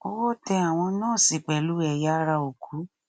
owó tẹ àwọn nọọsì pẹlú ẹyà ara òkú